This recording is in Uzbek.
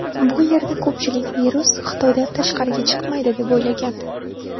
Bu yerda ko‘pchilik virus Xitoydan tashqariga chiqmaydi deb o‘ylagandi.